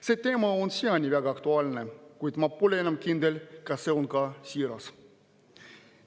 See teema on siiani väga aktuaalne, kuid ma pole enam kindel, kas see on ka siiras.